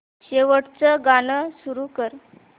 शेवटचं गाणं सुरू कर